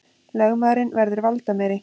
Lögmaðurinn verður valdameiri